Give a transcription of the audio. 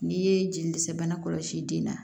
N'i ye jeli dɛsɛ bana kɔlɔsi den na